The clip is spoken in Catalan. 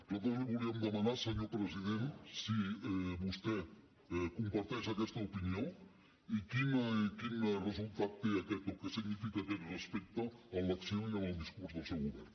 nosaltres li volíem demanar senyor president si vostè comparteix aquesta opinió i quin resultat té o què significa aquest respecte en l’acció i en el discurs del seu govern